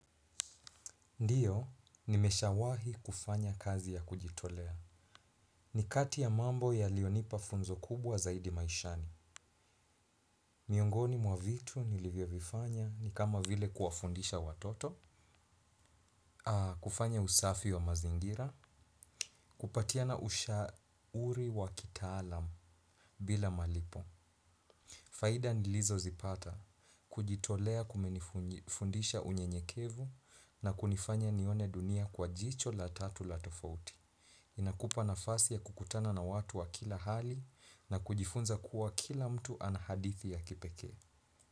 Ndiyo, nimesha wahi kufanya kazi ya kujitolea. Nikati ya mambo yalionipa funzo kubwa zaidi maishani. Miongoni mwa vitu nilivyo vifanya ni kama vile kuwafundisha watoto, kufanya usafi wa mazingira, kupatiana usha ri wa kitaalamu bila malipo. Faida nilizo zipata kujitolea kumenifundisha unyenyekevu na kunifanya nione dunia kwa jicho la tatu la tofauti. Inakupa nafasi ya kukutana na watu wa kila hali na kujifunza kuwa kila mtu anahadithi ya kipeke.